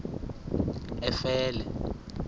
efele